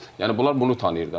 Yəni bunlar bunu tanıyır da.